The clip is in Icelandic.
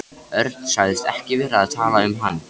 Örn sagðist ekki vera að tala um hann.